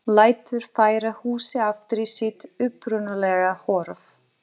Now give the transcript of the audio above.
Lætur færa húsið aftur í sitt upprunalega horf.